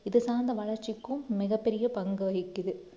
இது சார்ந்த வளர்ச்சிக்கும் மிகப் பெரிய பங்கு வகிக்குது